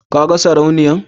ka gan sarauniya